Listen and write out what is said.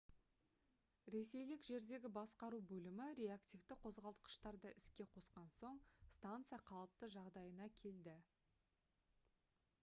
ресейлік жердегі басқару бөлімі реактивті қозғалтқыштарды іске қосқан соң станция қалыпты жағдайына келді